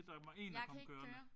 Jeg kan ikke køre